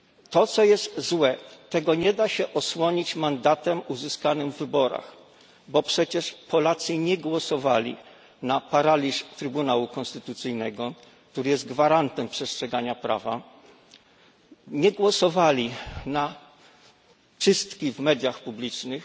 To co jest złe, tego nie da się osłonić mandatem uzyskanym w wyborach, bo przecież Polacy nie głosowali na paraliż Trybunału Konstytucyjnego, który jest gwarantem przestrzegania prawa, nie głosowali na czystki w mediach publicznych.